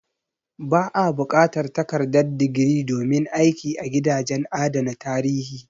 Ba a buƙatar takardar digiri domin aiki a gidajen adana tarihi.